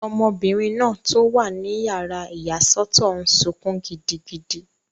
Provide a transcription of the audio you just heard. Ọmọbìnrin náà tó wà ní yàrá ìyàsọ́tọ̀ n sọkún gidigidi